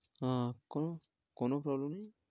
হ্যাঁ, করুন কোন problem নেই।